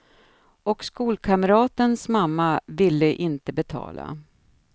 Och skolkamratens mamma ville inte betala.